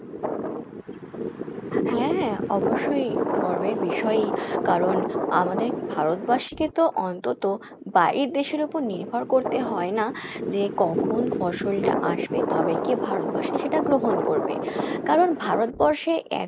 হ্যাঁ হ্যাঁ অবশ্যই গর্বের বিষয়ই কারন আমাদের ভারতবাসীকে তো অন্তত বাইরের দেশের ওপর নির্ভর করতে হয়না, যে কখন ফসল টা আসবে তবেই গিয়ে ভারতবাসী সেটা গ্রহণ করবে কারন ভারতবর্ষে এতো